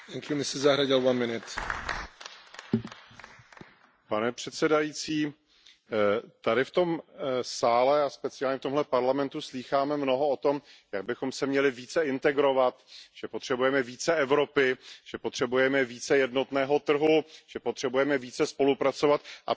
Pane předsedající, tady v tom sále a speciálně v tomto parlamentu slýcháme mnoho o tom, jak bychom se měli více integrovat, že potřebujeme více Evropy, že potřebujeme více jednotného trhu, že potřebujeme více spolupracovat, a přitom tento návrh, tato prozatímní dohoda jde právě